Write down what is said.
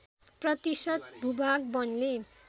प्रतिशत भूभाग वनले